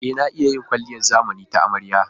E, na iya yin kwalliyar zamani ta amarya.